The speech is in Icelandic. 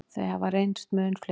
Þau hafi reynst mun fleiri.